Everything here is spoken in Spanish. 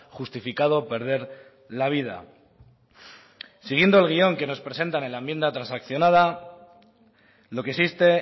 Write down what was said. justificado perder la vida siguiendo el guión que nos presentan en la enmienda transaccionada lo que existe